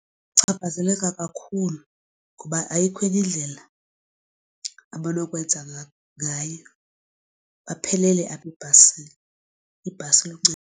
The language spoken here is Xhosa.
Bachaphazeleka kakhulu ngoba ayikho enye indlela abanokwenza ngayo baphelele apha ebhasini, ibhasi